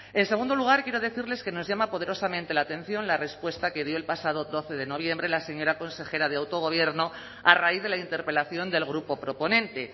en segundo lugar quiero decirles que nos llama poderosamente la atención la respuesta que dio el pasado doce de noviembre la señora consejera de autogobierno a raíz de la interpelación del grupo proponente